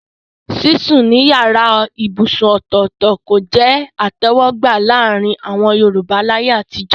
Sísùn nínú yàrá ibùsùn ọ̀tọ̀ọ̀tọ̀ kò jẹ́ ìtẹ̀wọ́gbà láàrin àwọn Yorùbá láyé àtijọ́